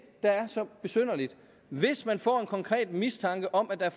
der er så besynderligt hvis man får en konkret mistanke om at der er